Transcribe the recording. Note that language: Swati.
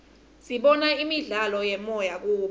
sibona imidlalo yemoya kubo